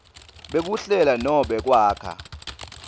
bekuhlela nobe kwakha